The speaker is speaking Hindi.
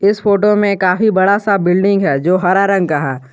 इस फोटो में काफी बड़ा सा बिल्डिंग है जो हरा रंग का है।